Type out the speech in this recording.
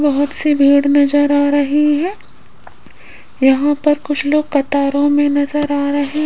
बहोत सी भीड़ नज़र आ रही है यहां पर कुछ लोग कतारों मे नजर आ रहे --